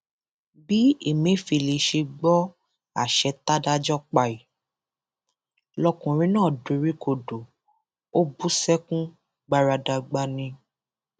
bí ẹmẹfẹlẹ ṣe gbọ àṣẹ tádájọ pa yìí lọkùnrin náà doríkodò ó bú sẹkún gbaradàgbà ni